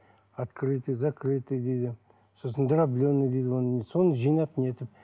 открытый закрытый дейді сосын дробленый дейді соны жинап нетіп